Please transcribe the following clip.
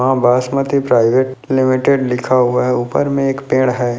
माँ Basmati private limited लिखा हुआ है ऊपर में एक पेड़ है।